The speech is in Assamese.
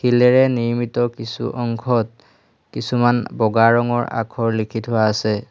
শিলেৰে নিৰ্মিত কিছু অংশত কিছুমান বগা ৰঙৰ আখৰ লিখি থোৱা আছে।